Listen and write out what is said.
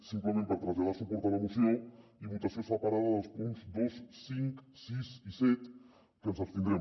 simplement per traslladar suport a la moció i votació separada dels punts dos cinc sis i set que ens hi abstindrem